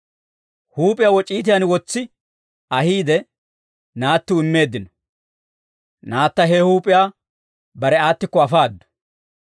Huup'iyaa woc'iitiyaan wotsi ahiide, naattiw immeeddino; naatta he huup'iyaa bare aattikko afaaddu.